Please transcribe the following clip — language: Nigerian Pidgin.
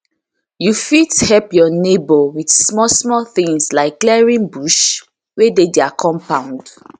you fit help your neighbour with small small things like clearing bush wey dey their compund